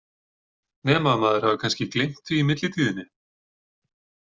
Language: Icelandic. Nema að maður hafi kannski gleymt því í millitíðinni?